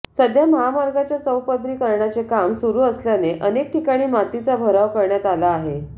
सध्या महामार्गाच्या चौपदरीकरणाचे काम सुरू असल्याने अनेक ठिकाणी मातीचा भराव करण्यात आला आहे